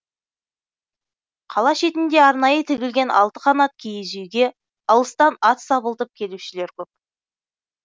қала шетінде арнайы тігілген алты қанат киіз үйге алыстан ат сабылтып келушілер көп